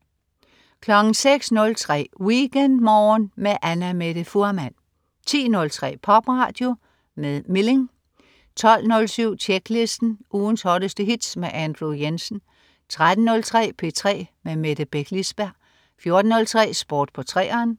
06.03 WeekendMorgen med Annamette Fuhrmann 10.03 Popradio mit Milling 12.07 Tjeklisten. Ugens hotteste hits med Andrew Jensen 13.03 P3 med Mette Beck Lisberg 14.03 Sport på 3'eren